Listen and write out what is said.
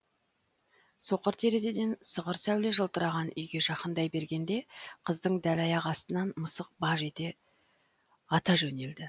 соқыр терезеден сығыр сәуле жылтыраған үйге жақындай бергенде қыздың дәл аяғы астынан мысық баж ете ата жөнелді